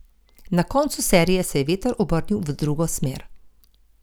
Na koncu serije se je veter obrnil v drugo smer.